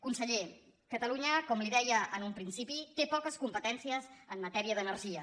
conseller catalunya com li deia en un principi té po·ques competències en matèria d’energia